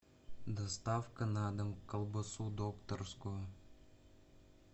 доставка на дом колбасу докторскую